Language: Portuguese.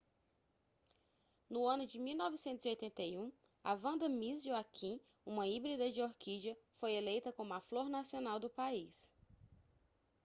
no ano de 1981 a vanda miss joaquim uma híbrida de orquídea foi eleita como a flor nacional do país